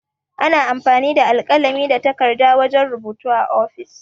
Ana amfani da alkalami da takarɗa wajan rubutu a ofis.